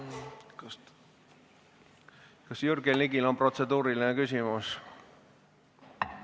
Kas Jürgen Ligil on protseduuriline küsimus?